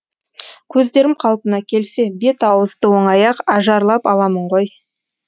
көздерім қалпына келсе бет ауызды оңай ақ ажарлап аламын ғой